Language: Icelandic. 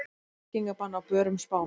Reykingabann á börum Spánar